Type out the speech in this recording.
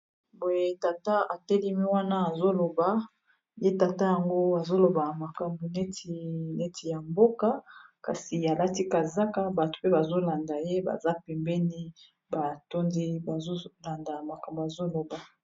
Boye tata atelemi wana azoloba ye tata yango azoloba makambu neti ya mboka kasi alati kazaka bato mpe bazolanda ye baza pembeni batondi bazolanda makambu azoloba.